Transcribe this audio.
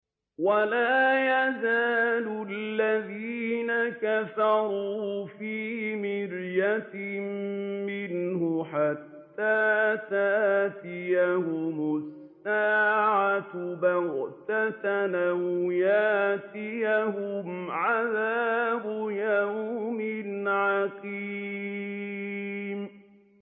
وَلَا يَزَالُ الَّذِينَ كَفَرُوا فِي مِرْيَةٍ مِّنْهُ حَتَّىٰ تَأْتِيَهُمُ السَّاعَةُ بَغْتَةً أَوْ يَأْتِيَهُمْ عَذَابُ يَوْمٍ عَقِيمٍ